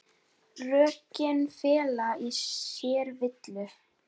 Rökin fela í sér villu.